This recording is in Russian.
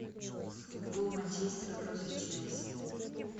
футбол манчестера против челси